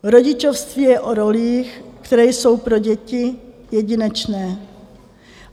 Rodičovství je o rolích, které jsou pro děti jedinečné.